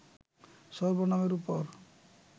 সর্বনামের উপর